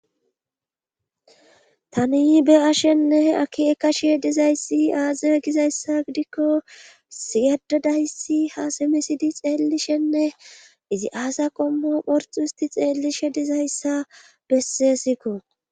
Tani be7ashenne aki ekashe dizayssi aazie gizayssa gidikko issi addadayssi ha simisidi xeellishenne izi aaza qommo phorxu histi xeellishe dizayssa bessesikko.